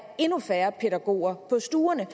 endnu færre pædagoger på stuerne